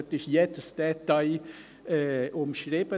Dort ist jedes Detail umschrieben.